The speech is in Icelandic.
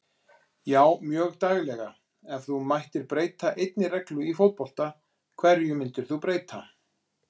Já mjög daglega Ef þú mættir breyta einni reglu í fótbolta, hverju myndir þú breyta?